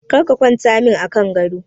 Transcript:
Kar ka kwanta min a kan gado!